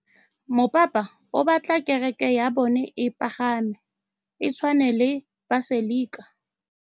Mopapa o batla kereke ya bone e pagame, e tshwane le paselika.